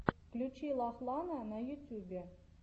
включи лахлана на ютьюбе